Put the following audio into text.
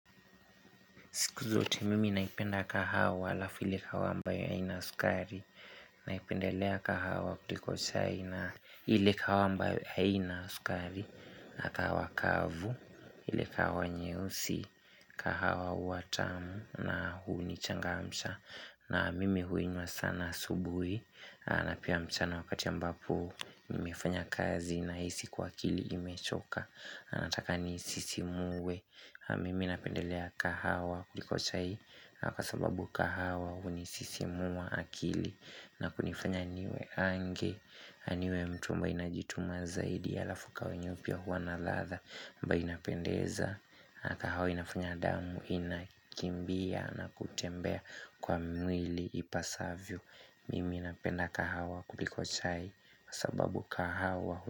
Kuzuti mimi naipenda kahawa halafiu ile kahawa ambayo haina sukari Naipendelea kahawa kuliko chai na ile kahawa ambayo haina sukari na kahawa kavu, ile kahawa nyeusi, kahawa huwa tamu na hunichangamsha na mimi huinywa sana asubuhi na pia mchana wakati ambapo nimefanya kazi nahisi kuwa akili imechoka na nataka niisisimuwe mimi napendelea kahawa kuliko chai kwa sababu kahawa hunisisimuwa akili na kunifanya niwe ange niwe mtu ambaye najituma zaidi halafu kahawa yenyewe pia huwa na ladha ambayo inapendeza na kahawa inafanya damu inakimbia na kutembea kwa mwili ipasavyo mimi napenda kahawa kuliko chai kwa sababu kahawa.